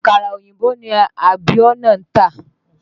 Àkàrà òyìnbó ni Abíọ́nà n tà